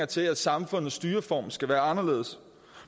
til at samfundets styreform skal være anderledes